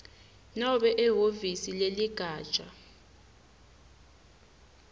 nobe ehhovisi leligatja